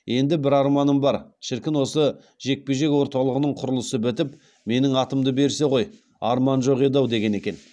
енді бір арманым бар шіркін осы жекпе жек орталығының құрылысы бітіп менің атымды берсе ғой арман жоқ еді ау деген екен